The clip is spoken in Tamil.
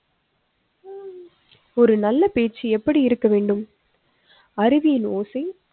ஒரு நல்ல பேச்சு எப்படி இருக்க வேண்டும்? அருவினோசை